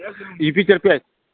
юпитер пять